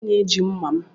Onye na-eji mma m?